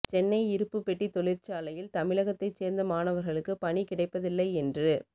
சென்னை இருப்புப் பெட்டித் தொழிற்சாலையில் தமிழகத்தைச் சேர்ந்த மாணவர்களுக்கு பணி கிடைப்பதில்லை என்று